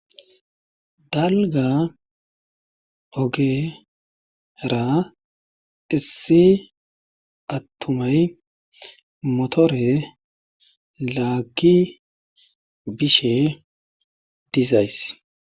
dalga ogera issi attumay motore laagi bishe dizays